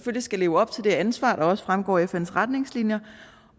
skal leve op til det ansvar der også fremgår af fns retningslinjer